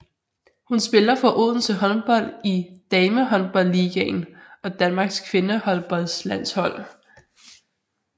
Hun spiller for Odense Håndbold i Damehåndboldligaen og Danmarks kvindehåndboldlandshold